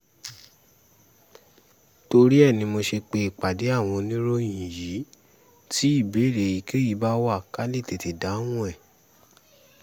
torí ẹ̀ ni mo ṣe pé ìpàdé àwọn oníròyìn yìí tí ìbéèrè èyíkéyìí bá wà ká lè tètè dáhùn ẹ̀